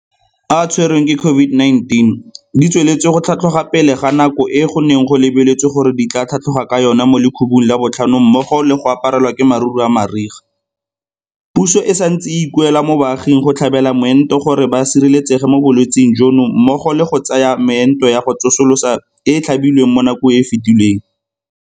a a tshwerweng ke COVID-19 di tsweletse go tlhatlhoga pele ga nako e go neng go lebeletswe gore di tla tlhatlhoga ka yona mo lekhubung la botlhano mmogo le go aparelwa ke maruru a mariga, puso e santse e ikuela mo baaging go tlhabela moento gore ba sireletsege mo bolwetseng jono mmogo le go ya go tsaya meento ya go tsosolosa e e tlhabilweng mo nakong e e fetileng.